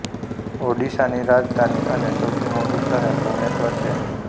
ઑડિશાની રાજધાની અને સૌથી મોટું શહેર ભુવનેશ્વર છે